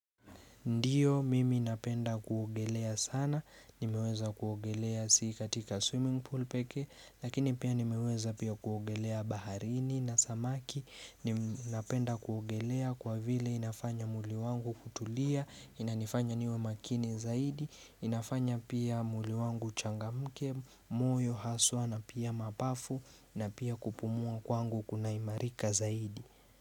Ndiyo mimi napenda kuogelea sana, nimeweza kuogelea si katika swimming pool pekee, lakini pia nimeweza pia kuogelea baharini na samaki, napenda kuogelea kwa vile inafanya mwili wangu kutulia, inanifanya niwe makini zaidi, inafanya pia mwili wangu uchangamke, moyo, haswa na pia mapafu na pia kupumua kwangu kuna imarika zaidi.